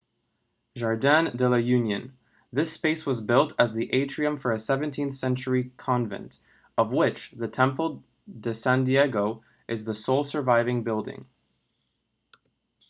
jardín de la unión. this space was built as the atrium for a 17th-century convent of which the templo de san diego is the sole surviving building